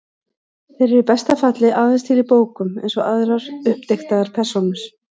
Þeir eru í besta falli aðeins til í bókum, eins og aðrar uppdiktaðar persónur.